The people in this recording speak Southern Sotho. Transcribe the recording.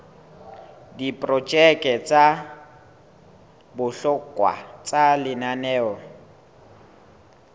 diprojeke tsa bohlokwa tsa lenaneo